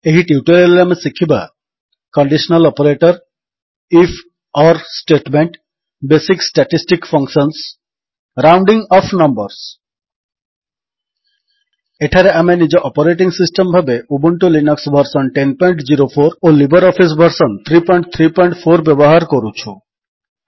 ଏହି ଟ୍ୟୁଟୋରିଆଲ୍ ରେ ଆମେ ଶିଖିବା କଣ୍ଡିଶନାଲ୍ ଅପରେଟର୍ ifଓର୍ statement basic statistic functions rounding off numbers ଏଠାରେ ଆମେ ନିଜ ଅପରେଟିଙ୍ଗ୍ ସିଷ୍ଟମ୍ ଭାବେ ଉବୁଣ୍ଟୁ ଲିନକ୍ସ ଭର୍ସନ୍ 1004 ଓ ଲିବର୍ ଅଫିସ୍ ଭର୍ସନ୍ 334 ବ୍ୟବହାର କରୁଛୁ